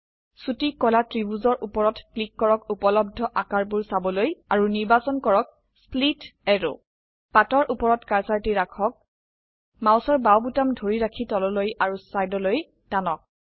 ছোটি কলা ত্ৰিভুজৰ উপৰত ক্লিক কৰক উপলব্ধ আকাৰবোৰ চাবলৈ আৰু নিৰ্বাচন কৰক স্প্লিট এৰৱ স্প্লিট অ্যাৰো পাতৰ উপৰত কাৰ্সাৰটি ৰাখক বাও মাউস বোতাম ধৰি ৰাখি তললৈ আৰু চাইদলৈ টানক